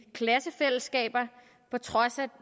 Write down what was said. klassefællesskaber på trods